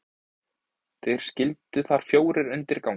þeir skyldu þar fjórir undir ganga